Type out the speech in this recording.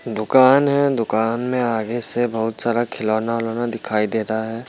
दुकान है दुकान में आगे से बहुत सारा खिलौना-विलौना दिखाई दे रहा है।